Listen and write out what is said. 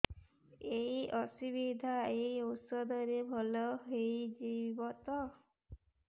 ଏଇ ଅସୁବିଧା ଏଇ ଔଷଧ ରେ ଭଲ ହେଇଯିବ ତ